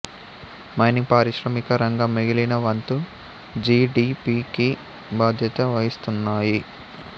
mining పారిశ్రామిక రంగం మిగిలిన వంతు జి డి పి కి బాధ్యత వహిస్తున్నాయి